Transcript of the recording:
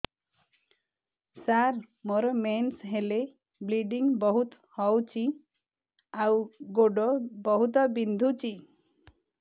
ସାର ମୋର ମେନ୍ସେସ ହେଲେ ବ୍ଲିଡ଼ିଙ୍ଗ ବହୁତ ହଉଚି ଆଉ ଗୋଡ ବହୁତ ବିନ୍ଧୁଚି